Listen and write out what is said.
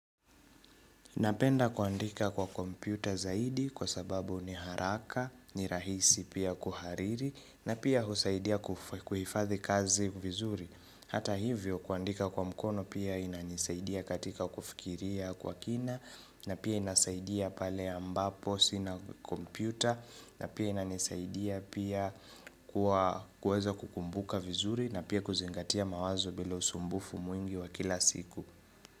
Napenda kuandika kwa kompyuta zaidi kwa sababu ni haraka, ni rahisi pia kuhariri na pia husaidia kuhifadhi kazi vizuri. Hata hivyo kuandika kwa mkono pia inanisaidia katika kufikiria kwa kina na pia inasaidia pale ambapo sina kompyuta na pia inanisaidia pia kuweza kukumbuka vizuri na pia kuzingatia mawazo bila usumbufu mwingi wa kila siku.